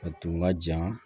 A tun ka jan